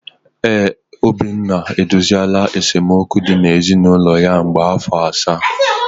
ee, Obinna edoziela esemokwu dị na ezinụlọ ya ka mgbe afọ asaa.